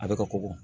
A bɛ ka kɔkɔ